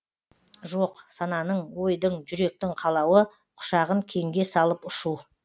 жоқ сананың ойдың жүректің қалауы құшағын кеңге салып ұшу